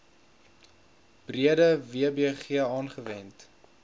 breede wbg aangewend